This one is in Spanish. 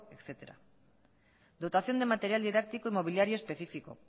etcétera dotación de material didáctico y mobiliario específico